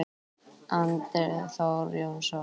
Andri Þór Jónsson